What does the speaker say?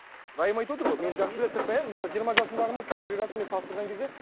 райым айтып отыр ғой мені жақсы біледі сырттан иә мысалы жиырма жасымдағымен қазіргі жасыммен салыстырған кезде